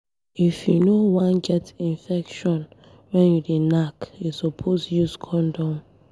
If you no wan get infection when you dey knack, you suppose use condom.